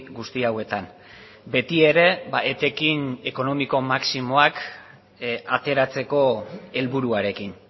guzti hauetan beti ere etekin ekonomiko maximoak ateratzeko helburuarekin